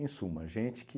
Em suma, gente que...